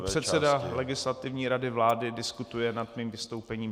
I předseda Legislativní rady vlády diskutuje nad mým vystoupením.